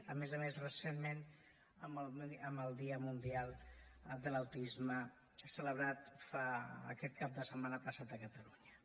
a més a més recentment en el dia mundial de l’autisme celebrat aquest cap de setmana passat a catalunya